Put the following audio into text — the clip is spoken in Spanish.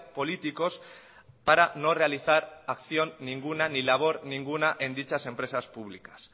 políticos para no realizar acción ninguna ni labor ninguna en dichas empresas públicas